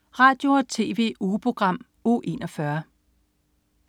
Radio- og TV-ugeprogram Uge 41